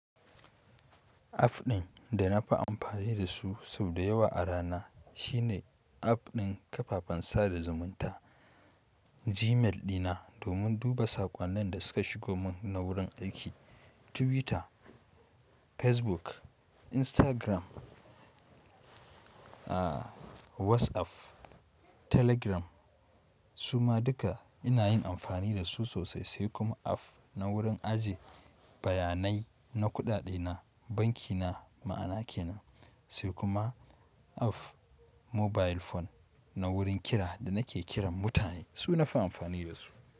App ɗin da na fi amfani da su sau da yawa a rana shine app ɗin kafafen sada zumunta. Gmail ɗina domin duba saƙonnin da suka shigo mun na wurin aiki. Twitter, Facebook, Instagram, aah WhatsApp, Telegram su ma duka ina yin amfani da su sosai. Sai kuma app na wurin ajiye bayanai na kuɗaɗe na, banki na ma'ana kenan. Sai kuma app mobile phone na wurin kira da nake kiran mutane, su nafi amfani da su.